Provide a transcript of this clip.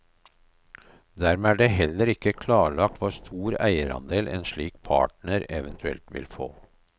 Dermed er det heller ikke klarlagt hvor stor eierandel en slik partner eventuelt vil få.